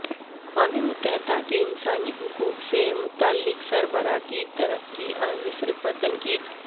اقوام متحدہ کے انسانی حقوق سے متعلق سربراہ کی ترکی اور مصر پر تنقید